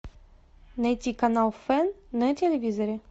найти канал фэн на телевизоре